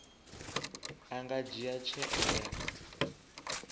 a nga dzhia tsheo ya